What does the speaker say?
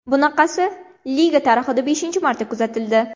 Bunaqasi liga tarixida beshinchi marta kuzatildi.